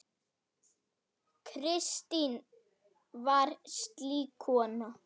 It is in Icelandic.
Kristín var slík kona.